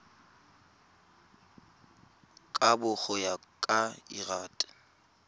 kabo go ya ka lrad